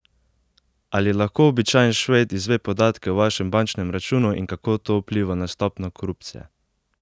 Ali lahko običajen Šved izve podatke o vašem bančnem računu in kako to vpliva na stopnjo korupcije?